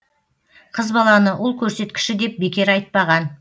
қыз баланы ұл көрсеткіші деп бекер айтпаған